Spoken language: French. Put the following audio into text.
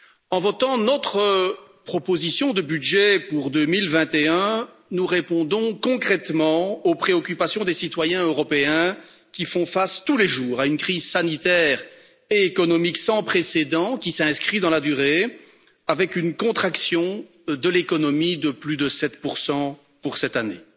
En votant notre proposition de budget pour 2021, nous répondons concrètement aux préoccupations des citoyens européens qui font face tous les jours à une crise sanitaire et économique sans précédent, qui s'inscrit dans la durée, avec une contraction de l'économie de plus de 7 pour cette année.